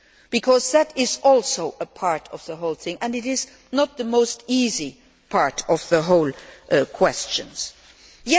Because that is also a part of the whole thing and it is not the easiest part of the whole issue.